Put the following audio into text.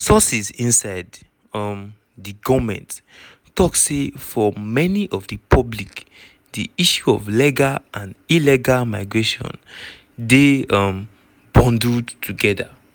sources inside um di goment tok say for many of di public di issue of legal and illegal migration dey um bundled togeda.